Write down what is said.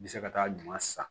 N bɛ se ka taa ɲuman san